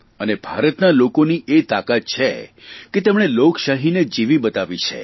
અને ભારતના લોકોનીએ તાકાત છે કે તેમણે લોકશાહીને જીવી બતાવી છે